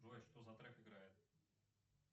джой что за трек играет